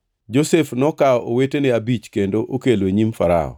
Josef nokawo owetene abich kendo okelo e nyim Farao.